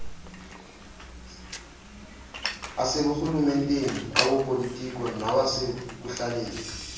aseburhumenteni awopolitiko nawasekuhlaleni